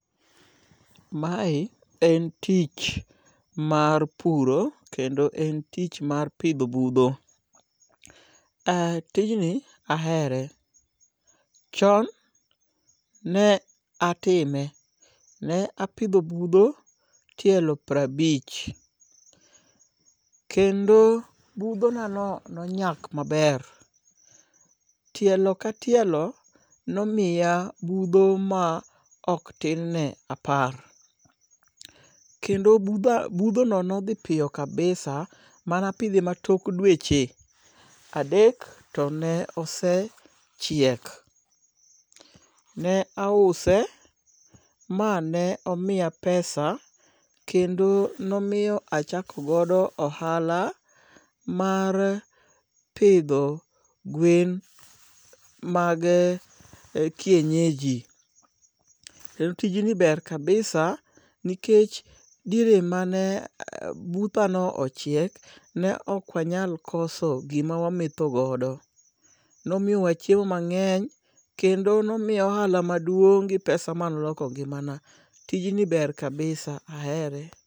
Mae en tich mar puro kendo en tich mar pidho budho. Ah tijni ahere. Chon ne atime, ne apidho budho tielo piero abich. Kendo budhonano nonyak maber. Tielo ka tielo nomiya budho maok tin ne apar kendo budhono nodhi piyo kabisa, manapidhe tok dweche adek to ne osee chiek. Ne ause mane omiya pesa mane achakogo ohala mar pidho gwen mage kienyeji. Kendo tijni ber kabisa nikech diere mane buthano ochiek, ne ok wanyal koso gima wametho godo. Nomiyowa chiemo mang'eny kendo nomiyowa ohala maduong' gi pesa manoloko ngimana. Tijni ber kabisa. Ahere.